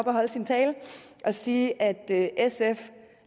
og holde sin tale og sige at sf